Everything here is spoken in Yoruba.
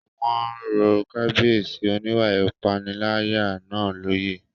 Wọ́n rọ Kábíyèsí oníwà ìpániláyà náà lóyè